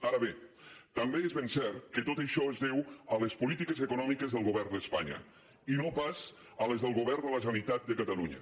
ara bé també és ben cert que tot això es deu a les polítiques econòmiques del govern d’espanya i no pas a les del govern de la generalitat de catalunya